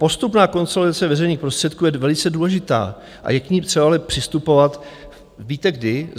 Postupná konsolidace veřejných prostředků je velice důležitá, a je k ní třeba ale přistupovat, víte kdy?